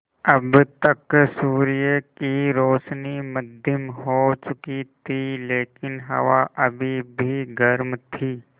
अब तक सूर्य की रोशनी मद्धिम हो चुकी थी लेकिन हवा अभी भी गर्म थी